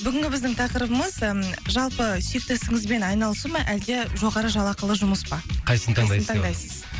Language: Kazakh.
бүгінгі біздің тақырыбымыз ы жалпы сүйікті ісіңізбен айналысу ма әлде жоғары жалақылы жұмыс па қайсысын таңдайсыз қайсысын таңдайсыз